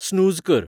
snooze कर